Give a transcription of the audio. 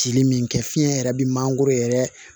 Cili min kɛ fiɲɛ yɛrɛ bɛ mangoro yɛrɛ